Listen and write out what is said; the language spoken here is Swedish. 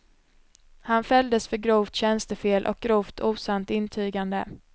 Han fälldes för grovt tjänstefel och grovt osant intygande.